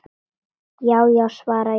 Já já, svara ég.